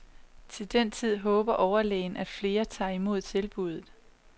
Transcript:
Til den tid håber overlægen, at flere tager imod tilbudet.